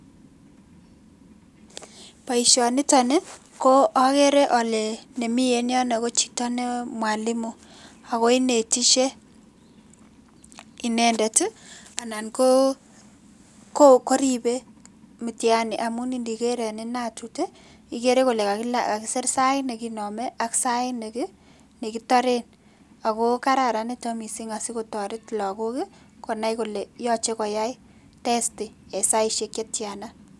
Boisonitoni, ko agere ale ne mii en yondon ko chito ne mwalimu. Ako inetishen inendet, anan koribe mitihani amun indiker en inatut, igere kole kakisir sait ne kiname, ak sait ne kitare. Ako kararan niton mising asikotoret lagok, konai kole iyache koyai testi en saisihiek che tian mwalimu-kanetindet mitihani- walutiet